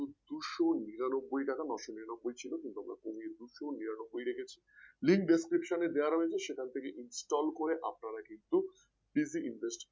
দুইশ নিরানব্বই টাকা নয়শনিরানব্বই ছিল কিন্তু আমরা কমিয়ে দুইশ নিরানব্বই রেখেছি Link Description এ দেওয়া রয়েছে সেটা থেকে কিন্তু Install করে আপনারা কিন্তু Digit Invest